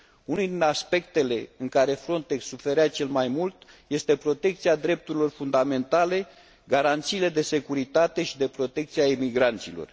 Unul din aspectele în care Frontex suferea cel mai mult este protecția drepturilor fundamentale, garanțiile de securitate și de protecție a emigranților.